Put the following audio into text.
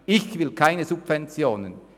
Ich will keine Subventionen;